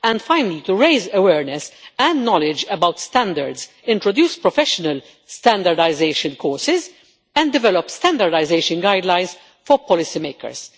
And finally, to raise awareness and knowledge about standards, introduce professional standardisation courses, and develop standardisation guidelines for policymakers.